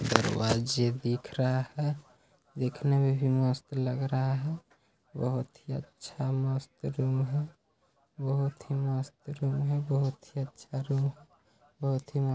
दरवाजे दिख रहा है दिखने में भी मस्त लग रहा है बहोत ही अच्छा मस्त रूम है बहोत ही मस्त रूम है बहुत ही अच्छा रूम है बहुत ही मस्त --